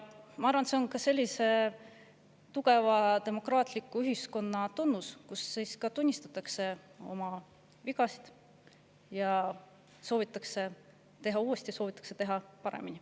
Ma arvan, et see on tugeva demokraatliku ühiskonna tunnus, kui tunnistatakse oma vigasid ja soovitakse teha uuesti, soovitakse teha paremini.